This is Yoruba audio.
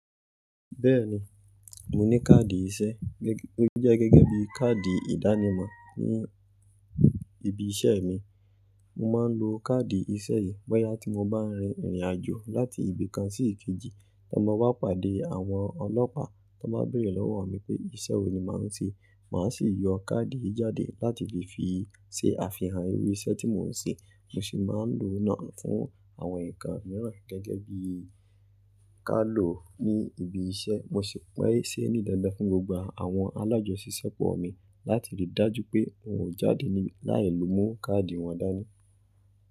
Bẹ́ẹ̀ni, mo ní káàdì iṣẹ́, ó jẹ́ gẹ́gẹ́ bí káàdì ìdánimọ̀ ní ibi iṣẹ́ mi. Mo máa ń lo káàdì iṣẹ́ yìí bọ́yá tí mo bá rin ìrìn àjò láti ibi kan sí ìkejì. Bí mo bá pàdé àwọn ọlọ́pàá tí wọ́n béèrè lọ́wọ́ mi pé iṣẹ́ wo ni màá ń ṣe, màá sì yọ káàdì yìí jáde láti lè fi ṣe àfihàn irú iṣẹ́ tí mo ń ṣe. Mo sì máa ń lo náà fún àwọn nǹkan mìíràn gẹ́gẹ́ bí i ká ló ní ibi iṣẹ́. Mo sì maa n ṣe ní dandan fún gbogbo àwọn alájọṣìṣẹ́pọ̀ mi láti ri dájú pé wọn ò jáde láì mú káàdì wọn dání.